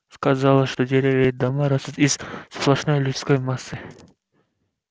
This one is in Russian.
казалось что деревья и дома растут из сплошной людской массы